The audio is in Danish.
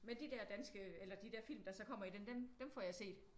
Men de der danske eller de der film der så kommer i den dem får jeg set